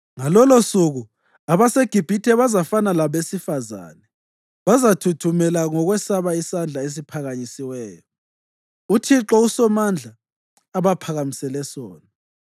Ngalolosuku abaseGibhithe bazafana labesifazane. Bazathuthumela ngokwesaba isandla esiphakanyisiweyo uThixo uSomandla abaphakamisele sona.